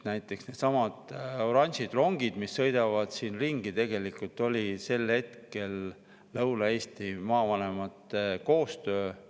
Näiteks needsamad oranžid rongid, mis siin sõidavad ringi, tegelikult sel ajal Lõuna-Eesti maavanemate koostöö.